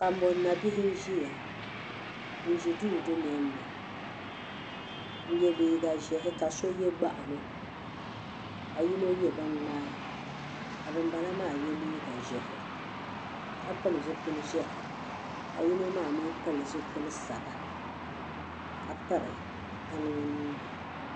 Kambon nabihi n ʒia n ʒi duu dunoli ni n ye liiga ʒehi ka ye gbaɣano ka yino ye bin nyaa ka ban bala maa ye liiga ʒehi ka pili zipili ʒehi ka yino maa pili zipili saba ka piri baŋa o nuuni.